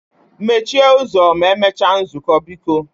Mechie ụzọ ma emechaa nzukọ biko